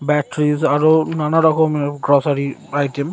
ব্যেট্রিস আরো নানান রকমের গোসারি আইটেম --